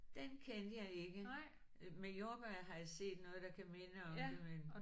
Den kendte jeg ikke. Øh med jordbær har jeg set noget der kan minde om det men